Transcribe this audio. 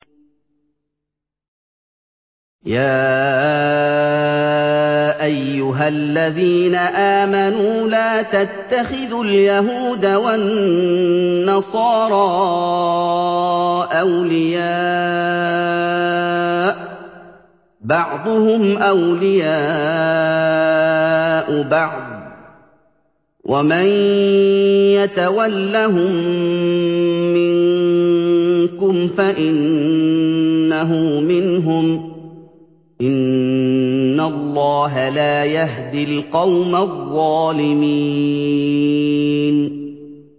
۞ يَا أَيُّهَا الَّذِينَ آمَنُوا لَا تَتَّخِذُوا الْيَهُودَ وَالنَّصَارَىٰ أَوْلِيَاءَ ۘ بَعْضُهُمْ أَوْلِيَاءُ بَعْضٍ ۚ وَمَن يَتَوَلَّهُم مِّنكُمْ فَإِنَّهُ مِنْهُمْ ۗ إِنَّ اللَّهَ لَا يَهْدِي الْقَوْمَ الظَّالِمِينَ